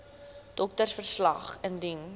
doktersverslag wcl indien